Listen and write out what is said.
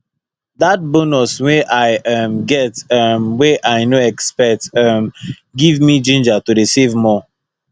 that bonus wey i um get um wey i no expect um give me ginger to dey save more